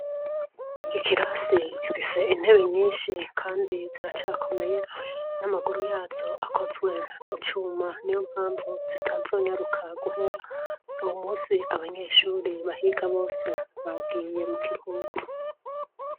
Ikirasi gifise intebe nyinshi kandi ziracakomeye n'amaguru yazo akozwe mu cuma ni yo mpamvu zitazonyaruka guhera uyumunsi abanyeshuri bahiga bose bagiye mu kiruhuku